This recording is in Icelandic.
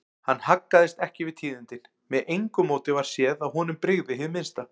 Hann haggaðist ekki við tíðindin, með engu móti varð séð að honum brygði hið minnsta.